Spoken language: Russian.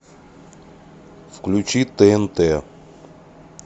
включи тнт